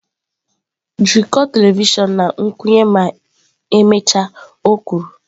“Jikọọ telivishọn na nkwụnye ma emechaa”,o kwuru.